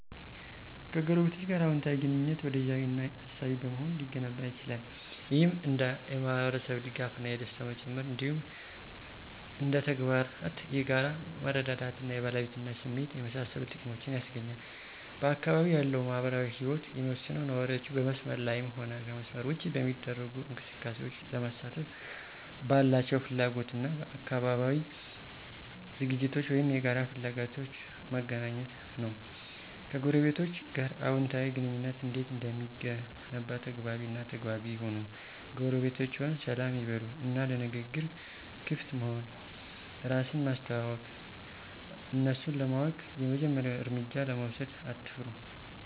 ከጎረቤቶች ጋር አወንታዊ ግንኙነት፣ ወዳጃዊ እና አሳቢ በመሆን ሊገነባ ይችላል። ይህም እንደ የማህበረሰብ ድጋፍ እና ደስታ መጨመር፣ እንዲሁም እንደ ተግባራት የጋራ መረዳዳት እና የባለቤትነት ስሜትን የመሳሰሉ ጥቅሞችን ያስገኛል። በአካባቢው ያለው ማህበራዊ ህይወት የሚወሰነው ነዋሪዎቹ በመስመር ላይም ሆነ ከመስመር ውጭ በሚደረጉ እንቅስቃሴዎች ለመሳተፍ ባላቸው ፍላጎት እና በአካባቢያዊ ዝግጅቶች ወይም የጋራ ፍላጎቶች መገኘት ነው። ከጎረቤቶቸ ጋር አዎንታዊ ግንኙነት እንዴት እንደሚገነባ ተግባቢ እና ተግባቢ ይሁኑ ጎረቤቶችዎን ሰላም ይበሉ እና ለንግግር ክፍት መሆን፣ እራስን ማስተዋወቅ፣ እነሱን ለማወቅ የመጀመሪያውን እርምጃ ለመውሰድ አትፍሩ።